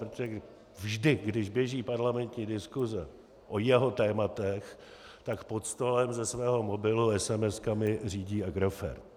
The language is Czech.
Protože vždy když běží parlamentní diskuse o jeho tématech, tak pod stolem ze svého mobilu esemeskami řídí Agrofert.